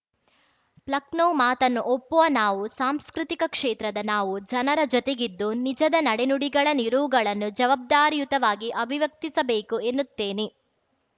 Plekhanov ಮಾತನ್ನು ಒಪ್ಪುವ ನಾನುಸಾಂಸ್ಕೃತಿಕ ಕ್ಷೇತ್ರದ ನಾವು ಜನರ ಜೊತೆಗಿದ್ದು ನಿಜದ ನಡೆ ನುಡಿಗಳ ನಿಲುವುಗಳನ್ನು ಜವಾಬ್ದಾರಿಯುತವಾಗಿ ಅಭಿವ್ಯಕ್ತಿಸಬೇಕು ಎನ್ನುತ್ತೇನೆ